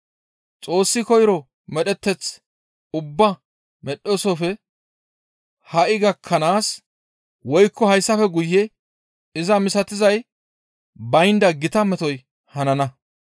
Xoossi koyro medheteth ubbaa medhdhoosofe ha7i gakkanaas woykko hayssafe guye iza misatizay baynda gita metoy hanana.